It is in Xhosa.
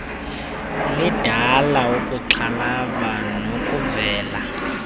lindela ukuxhalaba nokuvela